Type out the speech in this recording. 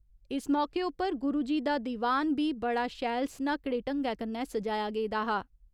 इस मौके उप्पर गुरुजी का दीवान बी बड़ा शैल स्‌नाकड़े ढंग्गै कन्नै सजाया गेदा हा।